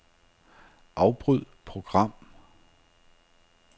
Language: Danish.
Afbryd program.